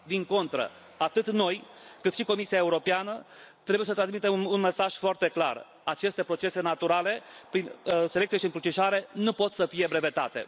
Din contră, atât noi, cât și Comisia Europeană trebuie să transmitem un mesaj foarte clar aceste procese naturale prin selecție și încrucișare nu pot să fie brevetate.